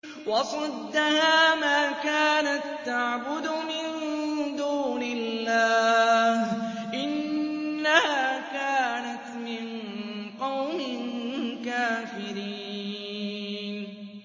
وَصَدَّهَا مَا كَانَت تَّعْبُدُ مِن دُونِ اللَّهِ ۖ إِنَّهَا كَانَتْ مِن قَوْمٍ كَافِرِينَ